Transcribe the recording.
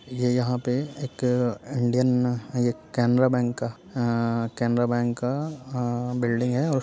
ये यहाँ पे एक अ इंडियन ये कैनरा बैंक का केनरा बैंक का अअ बिल्डिंग है और --